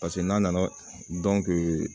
Paseke n'a nana